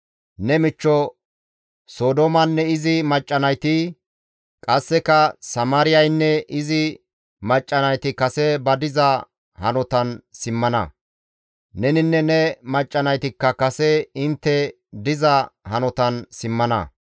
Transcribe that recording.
Ne michcho Sodoomanne izi macca nayti, qasseka Samaariyaynne izi macca nayti kase ba diza hanotan simmana; neninne ne macca naytikka kase intte diza hanotan simmana.